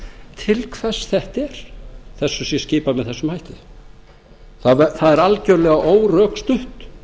til hvers þetta er að þessu sé skipað með þessum hætti það er algjörlega órökstutt